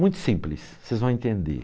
Muito simples, vocês vão entender.